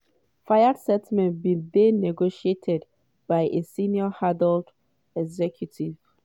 fayed settlement bin dey negotiated by a senior harrods executive.